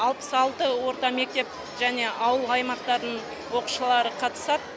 алпыс алты орта мектеп және ауыл аймақтарын оқушылары қатысады